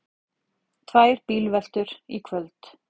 Tvær bílveltur í kvöld